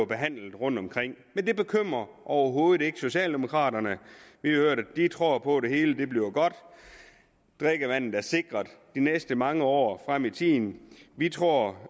behandlet rundtomkring men det bekymrer overhovedet ikke socialdemokraterne vi hørte at de tror på at det hele bliver godt at drikkevandet er sikret de næste mange år frem i tiden vi tror